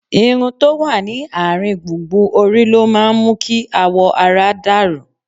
Irun tó wà ní àárín gbùngbùn orí ló máa ń mú kí awọ ara dà rú